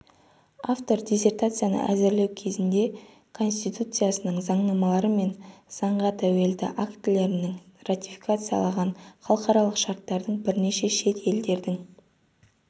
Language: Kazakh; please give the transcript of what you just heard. автор диссертацияны әзірлеу кезінде конституциясының заңнамалары мен заңға тәуелді актілерінің ратификациялаған халықаралық шарттардың бірнеше шет елдердің